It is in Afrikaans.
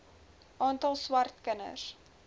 aantal swart kinders